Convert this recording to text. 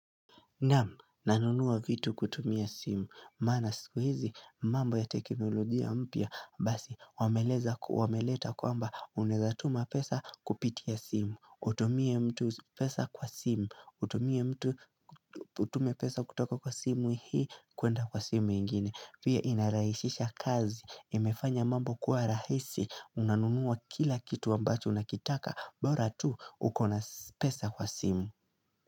Namu nanunua vitu kutumia simu, maana siku hizi mambo ya teknolojia mpya, basi wameleta kwamba unaweza tuma pesa kupitia simu, utumie mtu pesa kwa simu, utumie mtu Utume pesa kutoka kwa simu hii kuenda kwa simu ingine, pia inarahisisha kazi, imefanya mambo kuwa rahisi, unanunuwa kila kitu ambacho unakitaka, bora tu ukona pesa kwa simu.